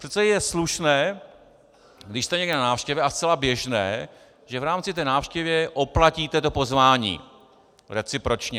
Přece je slušné, když jste někde na návštěvě, a zcela běžné, že v rámci té návštěvě oplatíte to pozvání, recipročně.